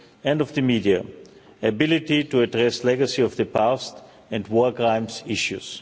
and of the media, the ability to address the legacy of the past, and war crimes issues.